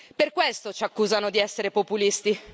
Per questo ci accusano di essere populisti.